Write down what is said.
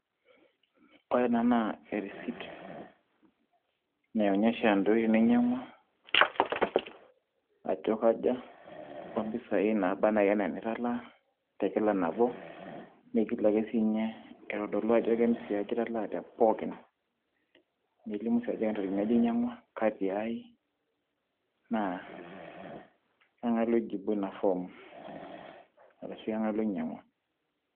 Ore ena naa e receipt naai onyesha entoki niny'iang'uaa ajo akaja oo mpisai naaba ena enitalaa te kila nabo niigil ake siiny'ie aitodoluajo ke impisa aja italaa te pookin. Nelimu ake sii ajo kentarikini aja iny'ang'uaa kaa tiaai naa kang'ai loijibuo ina form arashu kang'ae loiny'iang'uaa.